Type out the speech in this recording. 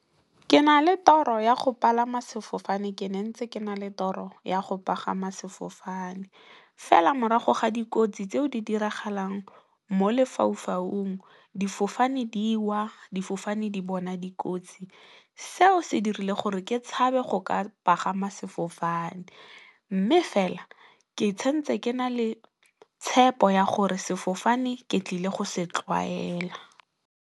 Ke na le toro ya go palama sefofane ke ne ntse ke na le toro ya go pagama sefofane. Fela morago ga dikotsi tseo di diragalang mo lefaufaung, difofane di wa, difofane di bona dikotsi seo se dirile gore ke tshabe go ka pagama sefofane mme, fela ke santse ke na le tshepo ya gore sefofane ke tlile go se tlwaela.